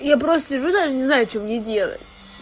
я просто сижу даже не знаю что мне делать